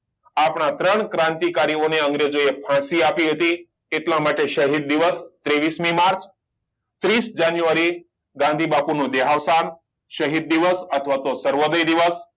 આપણા ત્રણ ક્રાંતિકારી ઓને અંગ્રેજો એ ફાંસી આપી હતી એટલા માટે શહીદ દિવસ ત્રેવીસ મી માર્ચ ત્રીસ જાન્યુઆરી ગાંધીબાપુ નો દેહાવસાન શાહિદ દિવસ અથવા તો સર્વોદય દિવસ